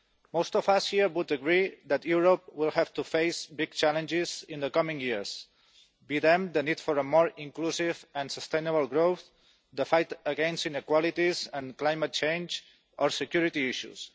Most of us here would agree that Europe will have to face big challenges in the coming years, whether the need for a more inclusive and sustainable growth, the fight against inequalities and climate change or security issues.